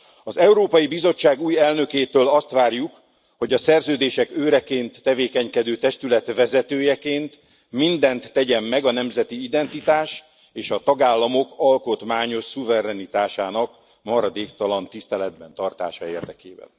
Az Európai Bizottság új elnökétől azt várjuk, hogy a szerződések őreként tevékenykedő testület vezetőjeként mindent tegyen meg a nemzeti identitás és a tagállamok alkotmányos szuverenitásának maradéktalan tiszteletben tartása érdekében.